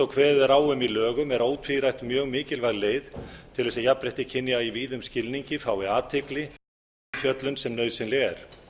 kveðið er á um í lögum er ótvírætt mjög mikilvæg leið til þess að jafnrétti kynja í víðum skilning fái athygli og umfjöllun sem nauðsynleg er